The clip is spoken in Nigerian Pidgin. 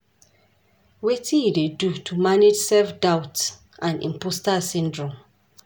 Wetin you dey do to manage self-doubt and imposter syndrome?